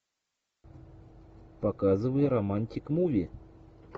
показывай романтик муви